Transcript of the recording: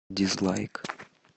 дизлайк